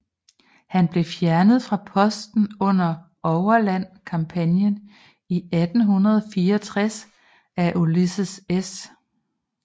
Han blev fjernet fra posten under Overland kampagnen i 1864 af Ulysses S